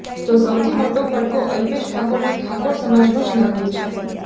તો સૌથી મોટો ફટકો અલ્પેશ ઠાકોરને ઠાકોર સમાજનો જ લાગ્યો છે